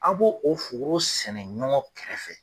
A' b'o o foro sɛnɛ ɲɔgɔn kɛrɛfɛ.